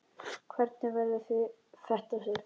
Hvernig verður þetta, Sif?